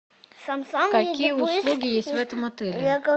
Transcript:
какие услуги есть в этом отеле